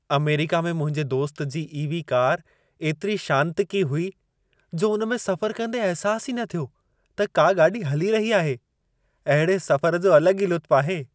America में मुंहिंजे दोस्त जी ई.वी. कार एतिरी शांतिकी हुई जो उन में सफ़रु कंदे अहिसासु ई न थियो त का गाॾी हली रही आहे। अहिड़े सफ़र जो अलॻि ई लुत्फ़ आहे।